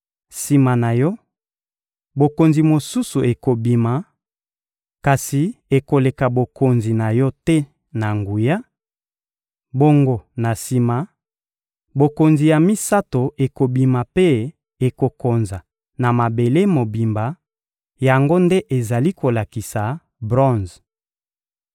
Sima na yo, bokonzi mosusu ekobima, kasi ekoleka bokonzi na yo te na nguya; bongo na sima, bokonzi ya misato ekobima mpe ekokonza na mabele mobimba: yango nde ezali kolakisa bronze.